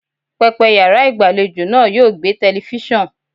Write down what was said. Pẹpẹ yàrá ìgbàlejò náà yóò gbẹ́ telifíṣàn.